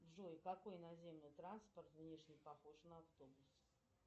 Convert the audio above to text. джой какой наземный транспорт внешне похож на автобус